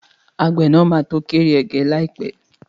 Àgbẹ̀ nàá máa to kórè ẹ̀gẹ́ líàpẹ́